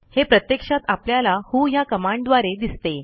हे प्रत्यक्षात आपल्याला व्हो ह्या कमांडद्वारे दिसते